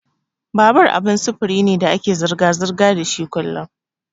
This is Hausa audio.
Babur abin sufuri ne da ake zirga-zirga dashi kullun.